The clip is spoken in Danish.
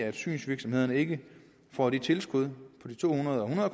at synsvirksomhederne ikke får de tilskud på de to hundrede og hundrede